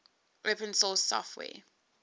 open source software